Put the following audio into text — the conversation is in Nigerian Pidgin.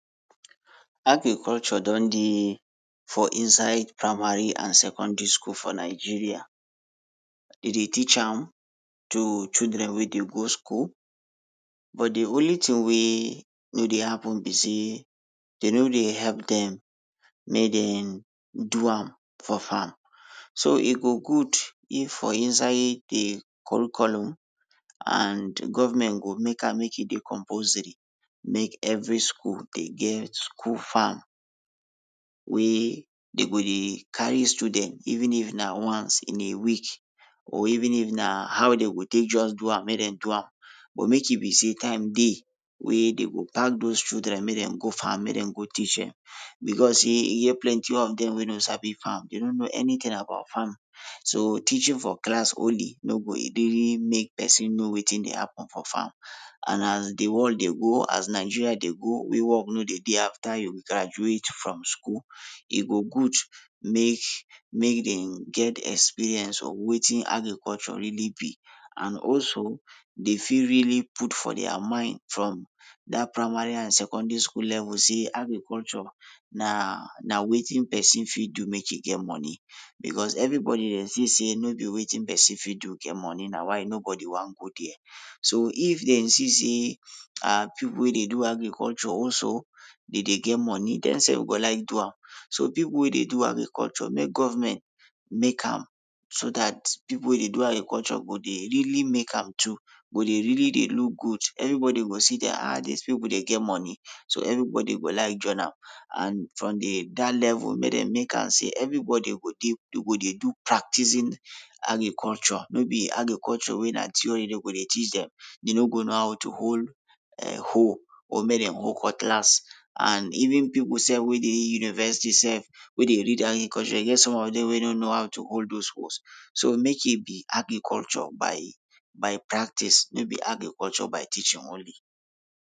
Agriculture don dey, for inside primary and secondary school for Nigeria. Dey dey teach am to children wey dey go school, but dey only tin wey no dey happen be sey, dey no dey help dem make den do am for farm. So e go good if for inside de curriculum, and government go make am make e dey compulsory, make every school dey get school farm wey dey go dey carry student even if na once in a week or even if na how den go just take do am, make dem do am, but make e be sey time dey, wey den go pack dos children make dem go farm make den teach dem. Becos e get plenty of dem wey no sabi farm, dem no no anytin about farm, so teaching for class only no go really make pesin know wetin dey happen for farm, and as world dey go, as Nigeria dey go, wey work no dey dey after you graduate from school, e go good make, make dem get experience of wetin agriculture really be. And also, dem fit really put for dia mind from dat primary and secondary school level sey agriculture na, na wetin pesin fit do make e get moni, becos everybodi dey see sey no be wetin pesin fit do get moni na why nobodi wan go der. So if den see sey ah, pipul wey dey do agriculture also den dey get moni, dem so go like do am. So pipul wey dey do agriculture, make government make am, so dat pipul wey dey do agriculture go dey really make am too, go dey really dey look good, everybodi go see dem ah ah, dis pipul dem get moni, so everybodi go like join am, and from de dat level make dem make am sey everybodi go dey, dey go dey do practicing agriculture no be agriculture wey be sey na theory dem go dey teach dem. Dem no go know how to hold um hoe, or make dem hold cutlass, and even pipul sef wey dey university sef wey dey read agriculture e get some of dem wey no no how to hold dos hoes. So make e be agriculture by by practise no be agriculture by teaching only.